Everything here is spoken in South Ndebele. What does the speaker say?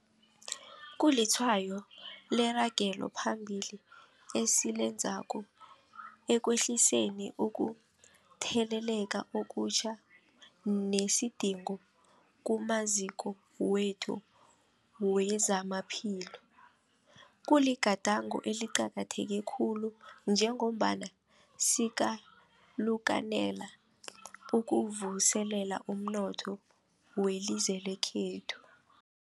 Kulitshwayo leragelo phambili esilenzako ekwehliseni ukutheleleka okutjha nesidingo kumaziko wethu wezamaphilo. Kuligadango eliqakatheke khulu njengombana sikalukanela ukuvuselela umnotho welizwe lekhethu.